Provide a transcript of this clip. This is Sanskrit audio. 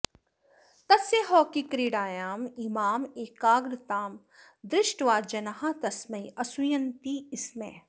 तस्य हॉकी क्रीडायाम् इमाम् एकाग्रतां दृष्ट्वा जनाः तस्मै असूयन्ति स्म